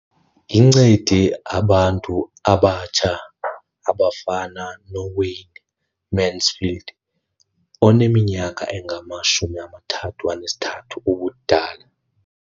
Incede abantu abatsha abafana noWayne Mansfield oneminyaka engama-33 ubudala.